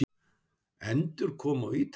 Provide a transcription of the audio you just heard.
Endurkoma til Ítalíu?